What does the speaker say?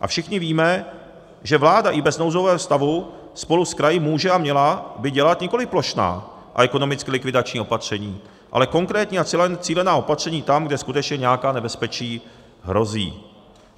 A všichni víme, že vláda i bez nouzového stavu spolu s kraji může a měla by dělat nikoli plošná a ekonomicky likvidační opatření, ale konkrétní a cílená opatření tam, kde skutečně nějaká nebezpečí hrozí.